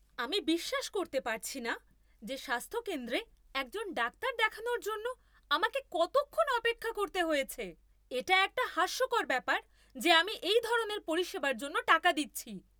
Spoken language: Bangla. আমি বিশ্বাস করতে পারছি না যে স্বাস্থ্যকেন্দ্রে একজন ডাক্তার দেখানোর জন্য আমাকে কতক্ষণ অপেক্ষা করতে হয়েছে! এটা একটা হাস্যকর ব্যাপার যে আমি এই ধরনের পরিষেবার জন্য টাকা দিচ্ছি!